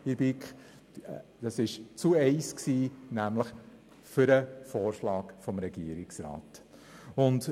Dieses fiel mit einer Gegenstimme zugunsten des Vorschlags des Regierungsrats aus.